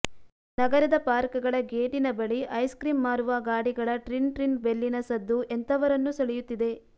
ನಗರದ ಪಾರ್ಕ್ಗಳ ಗೇಟಿನ ಬಳಿ ಐಸ್ಕ್ರೀಂ ಮಾರುವ ಗಾಡಿಗಳ ಟ್ರಿನ್ ಟ್ರಿನ್ ಬೆಲ್ಲಿನ ಸದ್ದು ಎಂಥವರನ್ನೂ ಸೆಳೆಯುತ್ತಿದೆ